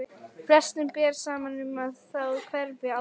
Flestum ber saman um að þá hverfi áhrifin.